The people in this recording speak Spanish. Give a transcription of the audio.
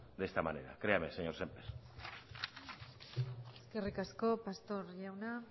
de esta manera créame señor sémper eskerrik asko pastor jauna